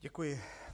Děkuji.